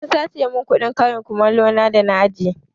An sace mun kuɗin karin kumalo na a aji